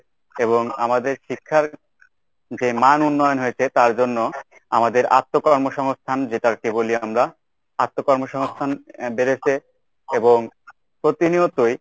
এবং আমাদের শিক্ষার যে মান উন্নয়ন হয়েছে তার জন্য আমাদের আত্মকর্মসংস্থান যেটার কেবলই আমরা আত্মকর্মসংস্থান আহ বেড়েছে এবং প্রতিনিয়তই